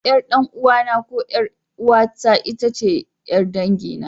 Ƴar ɗan'uwana ko ƴar'uwata ce itace ƴar dangina.